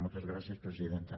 moltes gràcies presidenta